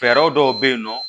Fɛɛrɛ dɔw bɛ yen nɔ